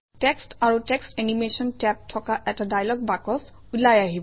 text আৰু text animation tab থকা এটা ডায়লগ বাকচ ওলাই আহিব